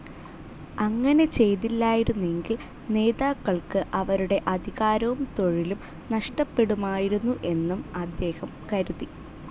അങ്ങനെ ചെയ്തില്ലായിരുന്നെങ്കിൽ നേതാക്കൾക്ക് അവരുടെ അധികാരവും തൊഴിലും നഷ്ടപ്പെടുമായിരുന്നു എന്നും അദ്ദേഹം കരുതി.